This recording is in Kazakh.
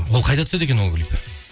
ол қайда түседі екен ол клип